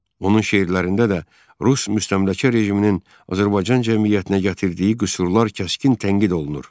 Onun şeirlərində də Rus müstəmləkə rejiminin Azərbaycan cəmiyyətinə gətirdiyi qüsurlar kəskin tənqid olunur.